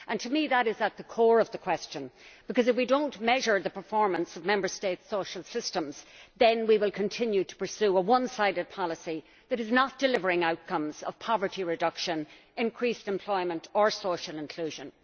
To me that is at the core of the question, because if we do not measure the performance of Member States' social systems then we will continue to pursue a one sided policy that is not delivering the outcomes of poverty reduction, increased employment or social inclusion.